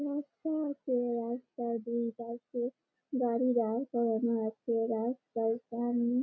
রাস্তা আছে রাস্তার দুই পাশে গাড়ি দাঁড় করানো আছে রাস্তার সামনে--